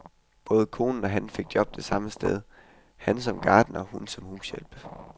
Både konen og han fik job det samme sted, han som gartner, hun som hushjælp.